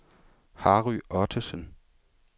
Harry Ottesen